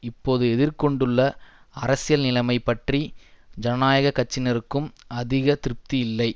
இப்போது எதிர் கொண்டுள்ள அரசியல் நிலைமை பற்றி ஜனநாயக கட்சியினருக்கும் அதிக திருப்தி இல்லை